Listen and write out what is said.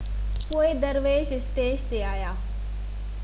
پوءِ درويش اسٽيج تي آهيا